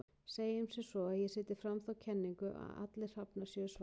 Segjum sem svo að ég setji fram þá kenningu að allir hrafnar séu svartir.